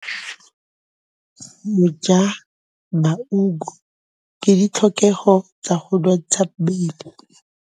Go ja maungo ke ditlhokegô tsa go nontsha mmele.